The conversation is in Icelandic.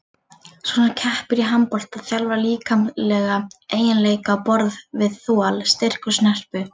Sú sem keppir í handbolta þjálfar líkamlega eiginleika á borð við þol, styrk og snerpu.